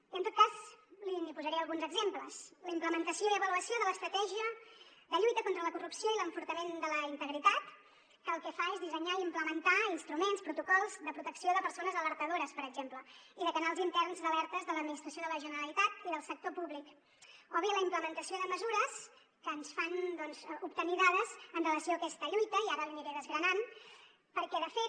i en tot cas li’n posaré alguns exemples la implementació i avaluació de l’estratègia de lluita contra la corrupció i l’enfortiment de la integritat que el que fa és dissenyar i implementar instruments protocols de protecció de persones alertadores per exemple i de canals interns d’alertes de l’administració de la generalitat i del sector públic o bé la implementació de mesures que ens fan obtenir dades amb relació a aquesta lluita i ara l’hi aniré desgranant perquè de fet